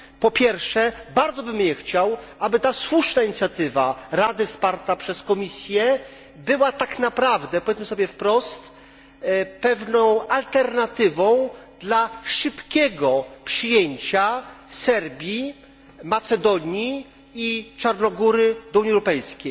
Po pierwsze, bardzo bym nie chciał, aby ta słuszna inicjatywa Rady wsparta przez Komisję była tak naprawdę, powiedzmy sobie wprost, pewną alternatywą dla szybkiego przyjęcia Serbii, Macedonii i Czarnogóry do Unii Europejskiej.